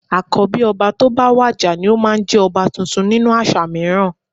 Àkọ́bí ọba tó bá wàjà ni ó máa ń jẹ ọba tuntun nínú àṣà mìíràn